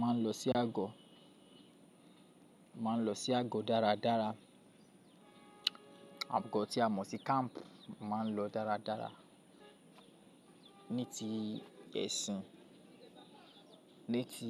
Máa ń lọ sí agọ. Máa ń lọ sí agọ dáradára. Agọ tí a mọ̀ sí kamp máa ń lọ dáradára. Ní ti ẹ̀sìn, ní ti